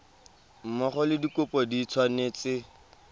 mmogo le dikopo di tshwanetse